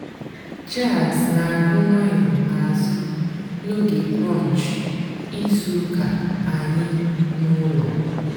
jàzz nà-àgù ǹwànyọ́ n'àzụ́ n'óge brùnch ìzú ụ́kà ànyị́ n'ụ́lọ́.